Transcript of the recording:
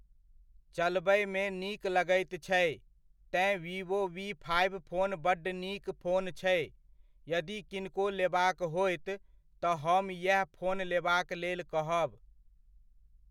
चलबयमे नीक लगैत छै, तेँ वीवो वी फाइव फोन बड्ड नीक फोन छै, यदि किनको लेबाक होयत, तऽ हम येह फोन लेबाक लेल कहब।